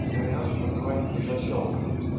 вариант называется защёлка